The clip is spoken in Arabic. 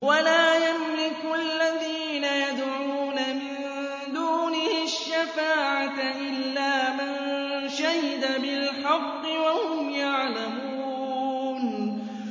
وَلَا يَمْلِكُ الَّذِينَ يَدْعُونَ مِن دُونِهِ الشَّفَاعَةَ إِلَّا مَن شَهِدَ بِالْحَقِّ وَهُمْ يَعْلَمُونَ